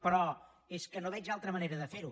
però és que no veig altra manera de ferho